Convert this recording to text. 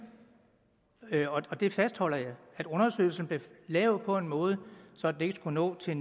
og det fastholder jeg undersøgelsen blev lavet på en måde så den ikke skulle nå til